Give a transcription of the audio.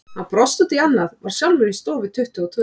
Hann brosti út í annað, var sjálfur í stofu tuttugu og tvö.